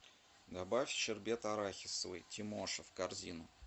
добавь щербет арахисовый тимоша в корзину